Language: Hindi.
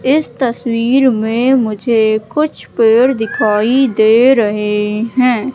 इस तस्वीर मे मुझे कुछ पेड़ दिखाई दे रहे हैं।